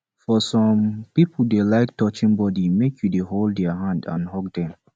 for some pipo dem dey like touching body make you dey hold their hand and hug them